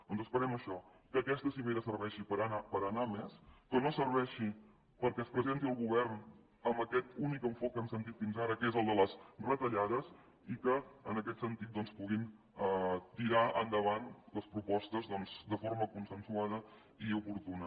doncs esperem això que aquesta cimera serveixi per anar a més que no serveixi perquè es presenti el govern amb aquest únic enfocament que hem sentit fins ara que és el de les retallades i que en aquest sentit doncs puguin tirar endavant les propostes de forma consensuada i oportuna